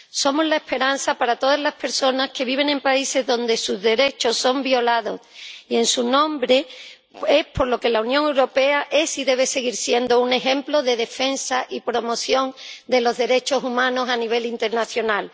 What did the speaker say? Somos la esperanza para todas las personas que viven en países donde sus derechos son violados, y en su nombre es por lo que la Unión Europea es y debe seguir siendo un ejemplo de defensa y promoción de los derechos humanos a nivel internacional.